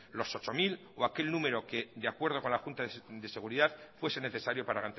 los ocho mil o aquel número que de acuerdo con la junta de seguridad fuese necesario para